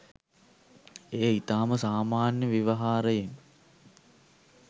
එය ඉතාම සාමාන්‍ය ව්‍යවහාරයෙන්